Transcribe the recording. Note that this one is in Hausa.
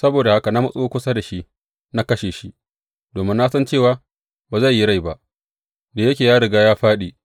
Saboda haka na matso kusa da shi na kashe shi, domin na san cewa ba zai yi rai ba, da yake ya riga ya fāɗi.